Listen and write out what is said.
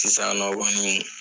Sisan nɔ kɔni